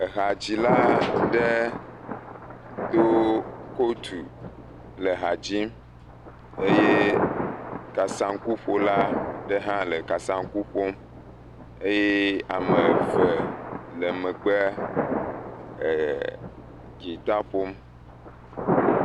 Ehadzila aɖe do kotu le ha dzim eye kasaŋkuƒola aɖe hã le kasaŋku ƒom eye ame eve le megbe e.. dzita ƒom.